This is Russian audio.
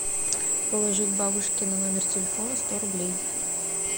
положить бабушке на номер телефона сто рублей